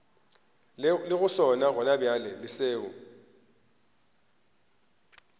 lego sona gonabjale le seo